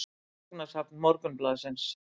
Gagnasafn Morgunblaðsins.